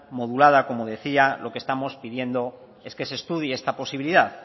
modulada como decía lo que estamos pidiendo es que se estudie esta posibilidad